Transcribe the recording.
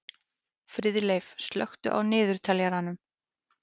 Friðleif, slökktu á niðurteljaranum.